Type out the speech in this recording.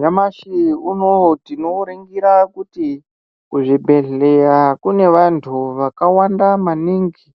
Nyamashi unoo tinoringira kuti kuzvibhedhleya kune vantu vakawanda maningi